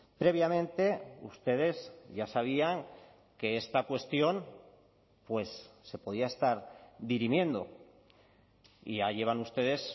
previamente ustedes ya sabían que esta cuestión pues se podía estar dirimiendo y ya llevan ustedes